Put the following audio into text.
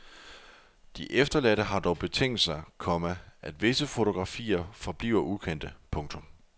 De efterladte har dog betinget sig, komma at visse fotografier forbliver ukendte. punktum